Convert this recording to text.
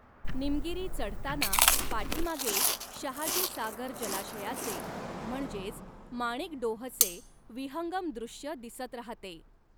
निमगिरी चढ़ताना पाठीमागे शहाजीसागर जलाशयाचे म्हणजेच माणिकडोहचे विहंगम दृश्य दिसत राहते.